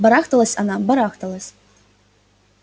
барахталась она барахталась